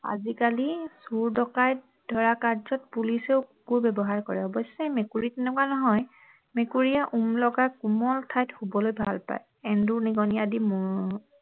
আজিকালি চোৰ ডকাইট ধৰা কাৰ্য্যত পুলিচেও কুকুৰ ব্যৱহাৰ কৰে অৱশ্যে মেকুৰী তেনেকুৱা নহয় মেকুৰীয়ে ওম লগা কোমল ঠাইত শুৱলৈ ভাল পায় এন্দুৰ নিগনি আদি হম